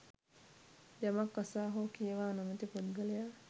යමක් අසා හෝ කියවා නොමැති පුද්ගලයා